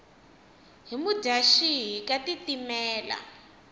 hi mudyaxihi ka tiitimela